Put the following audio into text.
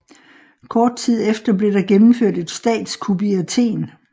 Kort tid efter blev der gennemført et statskup i Athen